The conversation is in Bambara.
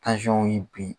y'i bin